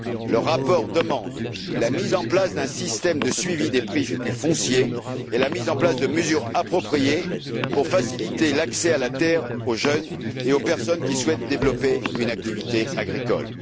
Le rapport demande la mise en place d'un système de suivi des prix du foncier et la mise en place de mesures appropriées pour faciliter l'accès à la terre aux jeunes et aux personnes qui souhaitent développer une activité agricole.